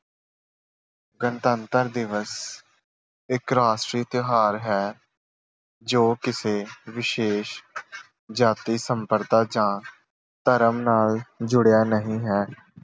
ਗਣਤੰਤਰ ਦਿਵਸ ਇੱਕ ਰਾਸ਼ਟਰੀ ਤਿਉਹਾਰ ਹੈ ਜੋ ਕਿਸੇ ਵਿਸ਼ੇਸ਼ ਜਾਤੀ ਸੰਪਰਦਾ ਜਾਂ ਧਰਮ ਨਾਲ ਜੁੜਿਆ ਨਹੀਂ ਹੈ।